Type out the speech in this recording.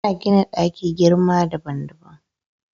Ana gina ɗaki girma daban daban